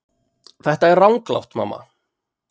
Þetta er ranglátt mamma.